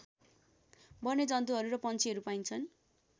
वन्यजन्तुहरू र पन्छीहरू पाइन्छन्